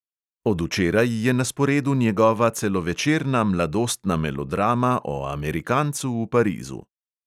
Od včeraj je na sporedu njegova celovečerna mladostna melodrama o amerikancu v parizu.